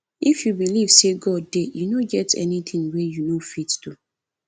if you believe say god dey e no get anything wey you no go fit do